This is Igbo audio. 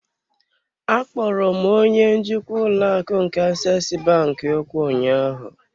Akpọrọ m onye njikwa ụlọ akụ nke aseesi bank okwu ụnyaahụ.